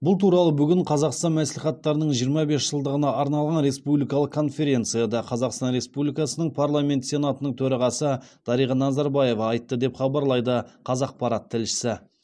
бұл туралы бүгін қазақстан мәслихаттарының жиырма бес жылдығына арналған республикалық конференцияда қазақстан республикасының парламенті сенатының төрағасы дариға назарбаева айтты деп хабарлайды қазақпарат тілшісі